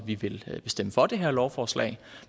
vi vil stemme for det her lovforslag